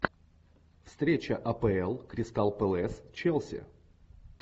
встреча апл кристал пэлас челси